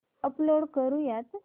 upload करुयात